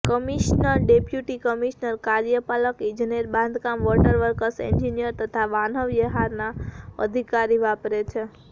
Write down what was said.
commissioner deputy commissioner કાર્યપાલક ઇજનેર બાંધકામ વોટર વકર્સ એન્જીનીયર તથા વાહન વ્યવહારના અધિકારી વાપરે છે